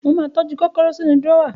Mo ma tọ́jú kòkòrò sínú dùrọ́á